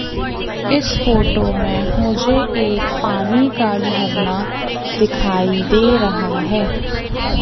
इस फोटो में मुझे एक पानी का झरना दिखाई दे रहा है।